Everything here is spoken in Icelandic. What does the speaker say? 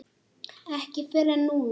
Ekki fyrr en núna.